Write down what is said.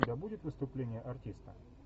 у тебя будет выступление артиста